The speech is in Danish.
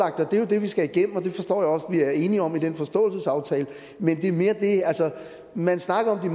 det er det vi skal have igennem og det forstår jeg også at vi er enige om i den forståelsesaftale men det er mere det at man snakker om